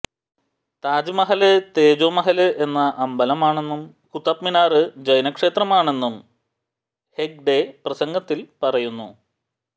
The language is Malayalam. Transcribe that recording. താജ്മഹല് തേജോമഹല് എന്ന അമ്പലമാണെന്നും കുത്തബ് മിനാര് ജൈനക്ഷേത്രമാണെന്നും ഹെഗ്ഡെ പ്രസംഗത്തില് പറയുന്നു